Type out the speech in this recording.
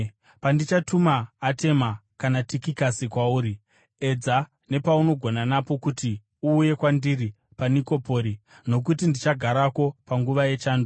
Pandichatuma Atema kana Tikikasi kwauri, edza napaunogona napo pose kuti uuye kwandiri paNikopori, nokuti ndichagarako panguva yechando.